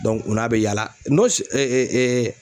o n'a bɛ yala